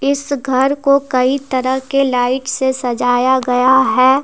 इस घर को कई तरह के लाइट से सजाया गया है।